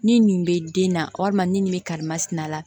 Ni nin bɛ den na walima ni nin bɛ karimasina la